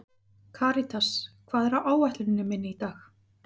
Karítas, hvað er á áætluninni minni í dag?